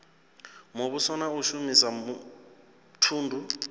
muvhuso na u shumisa thundu